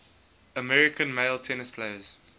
american male tennis players